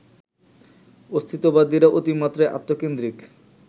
অস্তিত্ববাদীরা অতিমাত্রায় আত্মকেন্দ্রিক